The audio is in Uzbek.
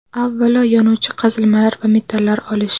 Avvalo, yonuvchi qazilmalar va metallar olish.